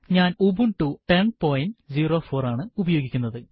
ഞാൻ ഉബുണ്ടു 1004 ആണ് ഉപയോഗിക്കുന്നത്